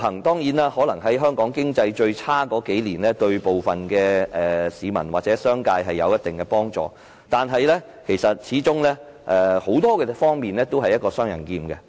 當然，在香港經濟最差的數年間，自由行對部分市民或商界有一定幫助，但它始終在很多方面也是一把"雙刃劍"。